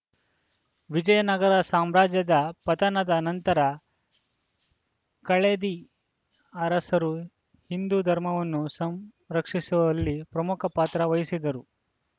ವಿಜಯ ನಗರ ಸಾಮ್ರಾಜ್ಯದ ಪಥನದ ನಂತರ ಕಳದಿ ಅರಸರು ಹಿಂದು ಧರ್ಮವನ್ನು ಸಂರಕ್ಷಿಸುವಲ್ಲಿ ಪ್ರಮುಖ ಪಾತ್ರ ವಹಿಸಿದ್ದರು